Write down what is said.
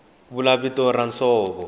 a vula vito ra nsovo